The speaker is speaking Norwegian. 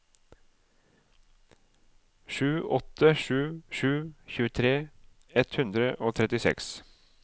sju åtte sju sju tjuetre ett hundre og trettiseks